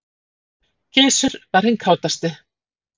Gizur var hinn kátasti.